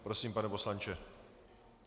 Prosím, pane poslanče.